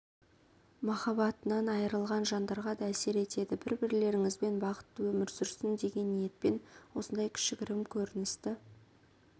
махаббатынан айырылған жандарға да әсер етеді бір-бірлеріңізбен бақытты өмір сүрсін деген ниетпен осындай кішігірім көріністі